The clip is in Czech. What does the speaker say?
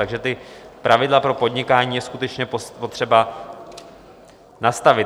Takže ta pravidla pro podnikání je skutečně potřeba nastavit.